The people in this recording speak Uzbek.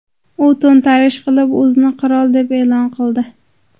U to‘ntarish qilib, o‘zini qirol deb e’lon qildi.